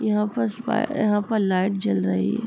यहाँ पर स्पा यहाँ पर लाइट जल रही है।